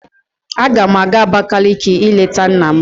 Agam aga Abakaliki ileta nna m.